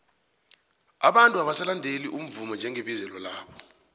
abantu abasalandeli umvumo njengebizelo labo